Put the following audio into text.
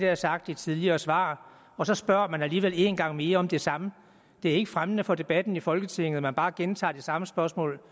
jeg sagt i tidligere svar og så spørger man alligevel én gang mere om det samme det er ikke fremmende for debatten i folketinget at man bare gentager det samme spørgsmål